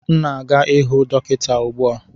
M na-aga ihụ dọkịta ugbu a